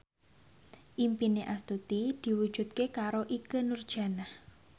impine Astuti diwujudke karo Ikke Nurjanah